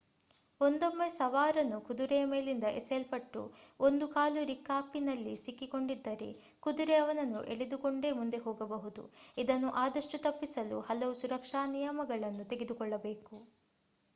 ಒಂದೊಮ್ಮೆ ಸವಾರನು ಕುದುರೆಯ ಮೇಲಿಂದ ಎಸೆಯಲ್ಪಟ್ಟು ಒಂದು ಕಾಲು ರಿಕಾಪಿನಲ್ಲಿ ಸಿಕ್ಕಿ ಕೊಂಡಿದ್ದರೆ ಕುದುರೆ ಅವನನ್ನು ಎಳೆದುಕೊಂಡೇ ಮುಂದೆ ಹೋಗಬಹುದು ಇದನ್ನು ಆದಷ್ಟು ತಪ್ಪಿಸಲು ಹಲವು ಸುರಕ್ಷಾ ನಿಯಮಗಳನ್ನು ತೆಗೆದುಕೊಳ್ಳಬೇಕು